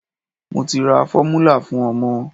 Mo ti ra fọ́múlà fún ọmọ.